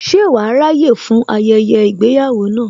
Ṣe wàá ráyè fún ayẹyẹ ìgbéyàwó náà